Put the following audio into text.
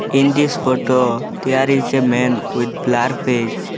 In this photo there is a man with blur face.